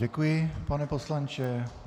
Děkuji, pane poslanče.